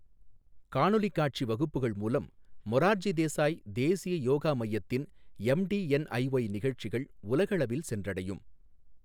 காணொலிக் காட்சி வகுப்புகள் மூலம், மொரார்ஜி தேசாய் தேசிய யோகா மையத்தின் எம்டிஎன்ஐஒய் நிகழ்ச்சிகள் உலகளவில் சென்றடையும்.